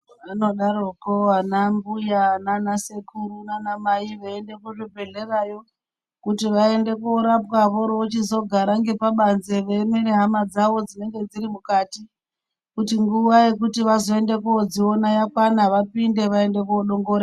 Anodaroko anambuya naana sekuru naanamai veiende kuzvibhehlerayo kuti vaende kunorapwa voorochizogara ngepabanze veiemere hama dzavo dzinenge dziri mukati kuti nguva yekuti vazoende koodziona yakwana vapinde vaende koodongore...